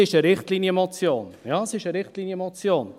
Es ist eine Richtlinienmotion, ja, es ist eine Richtlinienmotion.